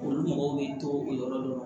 Olu mɔgɔw b'i to o yɔrɔ la